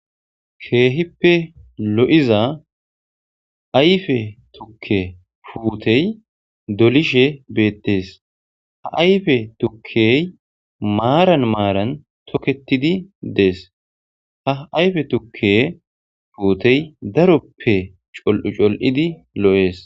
Keehippe lo'iza ayfe tukke puutey dolishe beettees ha ayfe tukkey maaran maaran toketidi dees ha ayfe tukke pfuutey daroppe col'u col'idi lo'ees.